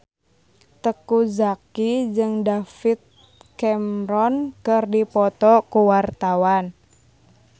Teuku Zacky jeung David Cameron keur dipoto ku wartawan